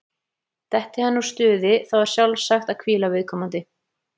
Detti hann úr stuði, þá er sjálfsagt að hvíla viðkomandi.